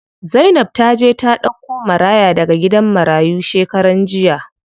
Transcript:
Zainab taje ta ɗauko maraya daga gidan marayu shekaran jiya.